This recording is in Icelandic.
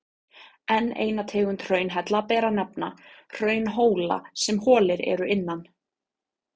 Enn eina tegund hraunhella ber að nefna, hraunhóla sem holir eru innan.